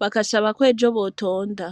bagasaba ko ejo botonda.